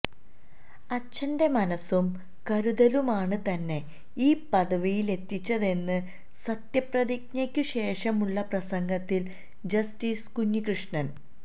അച്ഛന്റെ മനസ്സും കരുതലുമാണ് തന്നെ ഈ പദവിയിലെത്തിച്ചതെന്ന് സത്യപ്രതിജ്ഞയ്ക്കുശേഷമുള്ള പ്രസംഗത്തില് ജസ്റ്റിസ് കുഞ്ഞികൃഷ്ണന്